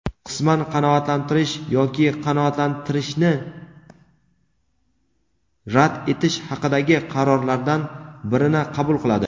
qisman qanoatlantirish yoki qanoatlantirishni rad etish haqidagi qarorlardan birini qabul qiladi.